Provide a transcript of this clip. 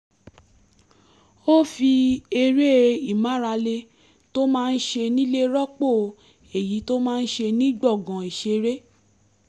ó fi eré ìmárale tó máa ń ṣe nílé rọ́pò èyí tó máa ń ṣe ní gbọ̀ngàn ìṣeré